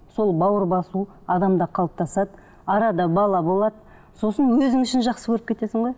сол бауыр басу адамда қалыптасады арада бала болады сосын өзің үшін жақсы көріп кетесің ғой